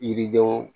Yiridenw